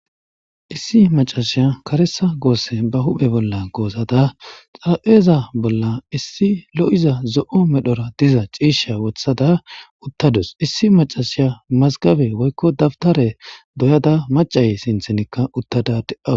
issi macasiya karesa goosse ba huphe bolla goosada xarapheza bolla issi lo'iza zo'o medhora diza ciisha wothada uttadus issi macasiya mazgabe woykko dabtare doyada macay sinthenikka uttada de'aws